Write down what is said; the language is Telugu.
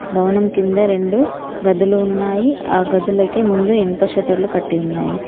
భవనం కింద రెండు గదులు ఉన్నాయి ఆ గదులకి ముందు ఇనుప షటర్లు కట్టి ఉన్నాయి.